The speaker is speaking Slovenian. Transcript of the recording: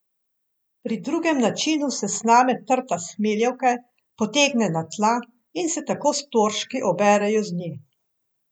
Pri drugem načinu se sname trta s hmeljevke, potegne na tla in se tako storžki oberejo z nje.